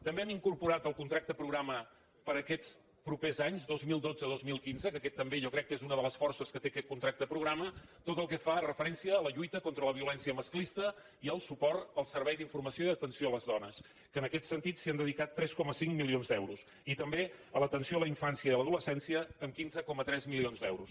també hem incorporat al contracte programa per a aquests pro·pers anys dos mil dotze·dos mil quinze que aquesta també jo crec que és una de les forces que té aquest contracte progra·ma tot el que fa referència a la lluita contra la violèn·cia masclista i i el suport al servei d’informació i aten·ció a les dones que en aquest sentit s’hi han dedicat tres coma cinc milions d’euros i també a l’atenció a la infància i a l’adolescència amb quinze coma tres milions d’euros